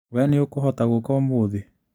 Wee nĩ ũkũhota gũka ũmũthĩ?